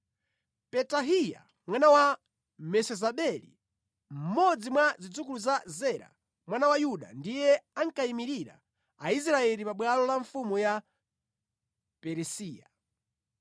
Petahiya mwana wa Mesezabeli, mmodzi mwa zidzukulu za Zera mwana wa Yuda ndiye ankayimirira Aisraeli pa bwalo la mfumu ya Perisiya.